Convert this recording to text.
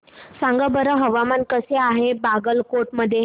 सांगा बरं हवामान कसे आहे बागलकोट मध्ये